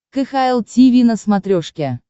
кхл тиви на смотрешке